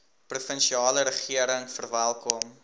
provinsiale regering verwelkom